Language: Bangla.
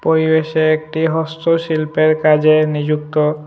পরিবেশে একটি হস্তশিল্পের কাজে নিযুক্ত।